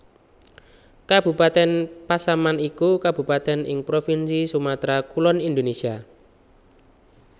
Kabupatèn Pasaman iku kabupatèn ing provinsi Sumatra Kulon Indonésia